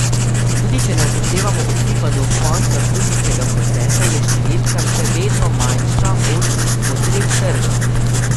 Tudi če ne upoštevamo osipa do konca študijskega procesa, je številka še vedno manjša od potreb trga.